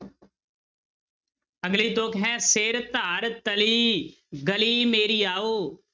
ਅਗਲੀ ਤੁੱਕ ਹੈ ਸਿਰੁ ਧਰਿ ਤਲੀ ਗਲੀ ਮੇਰੀ ਆਉ।